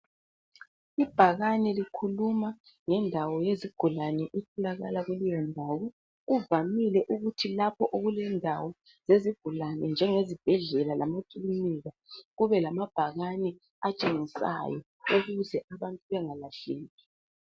Ibhakane likhuluma ngendawo yezigulane efunakala kuleyo ndawo. Kuvamile ukuthi lapho okulendawo yezigulane njengezibhedlela lamakilinika kube lamabhakane atshengisayo ukuze abantu bengalahleki.